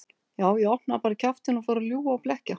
Já, ég opnaði bara kjaftinn og fór að ljúga og blekkja.